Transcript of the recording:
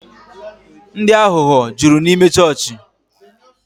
Ndị aghụghọ jụrụ n'ịme chọọchị